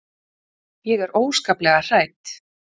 Ég er óskaplega hrædd.